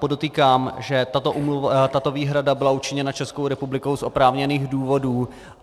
Podotýkám, že tato výhrada byla učiněna Českou republikou z oprávněných důvodů.